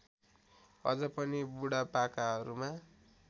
अझ पनि बुढापाकाहरूमा